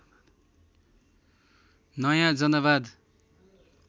नयाँ जनवाद